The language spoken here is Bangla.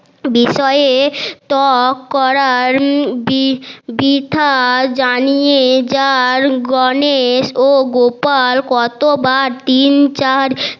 বিষয়ে তক করার বৃথা জানিয়ে যার গনেশ ও গোপাল কতোবার তিন চার